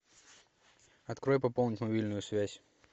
открой пополнить мобильную связь